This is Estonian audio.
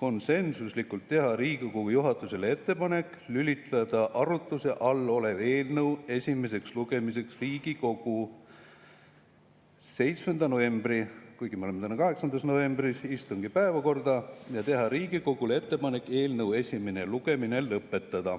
konsensuslikult teha Riigikogu juhatusele ettepaneku lülitada arutluse all olev eelnõu esimeseks lugemiseks Riigikogu 7. novembri – kuigi täna on 8. november – istungi päevakorda ja teha Riigikogule ettepaneku eelnõu esimene lugemine lõpetada.